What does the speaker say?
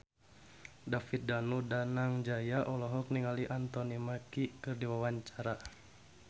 David Danu Danangjaya olohok ningali Anthony Mackie keur diwawancara